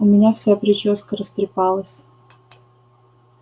у меня вся причёска растрепалась